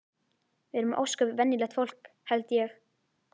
Við erum ósköp venjulegt fólk held ég.